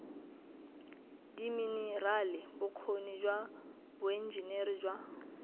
diminerale bokgoni jwa boenjiniri jwa